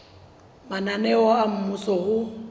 mananeo a mmuso a ho